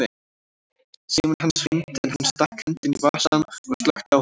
Síminn hans hringdi en hann stakk hendinni í vasann og slökkti á honum.